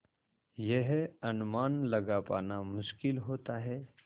यह अनुमान लगा पाना मुश्किल होता है